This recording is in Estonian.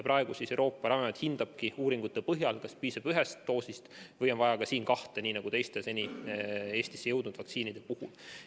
Praegu Euroopa Ravimiamet hindabki uuringute põhjal, kas selle puhul piisab ühest doosist või on vaja kahte nagu teiste seni Eestisse jõudnud vaktsiinide puhul.